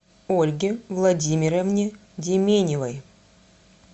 ольге владимировне деменевой